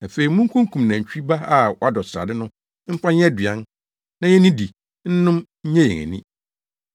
Afei munkokum nantwi ba a wadɔ srade no mfa nyɛ aduan, na yennidi, nnom, nnye yɛn ani,